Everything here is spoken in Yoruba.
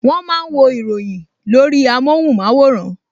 Wọ́n máa ń wo ìròyìn lórí amóhùnmáwòrán